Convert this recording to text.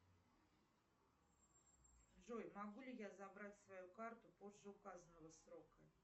джой могу ли я забрать свою карту позже указанного срока